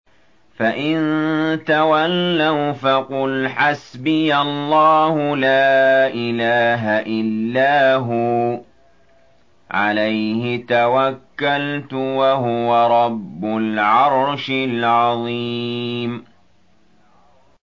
فَإِن تَوَلَّوْا فَقُلْ حَسْبِيَ اللَّهُ لَا إِلَٰهَ إِلَّا هُوَ ۖ عَلَيْهِ تَوَكَّلْتُ ۖ وَهُوَ رَبُّ الْعَرْشِ الْعَظِيمِ